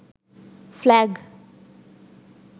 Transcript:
flag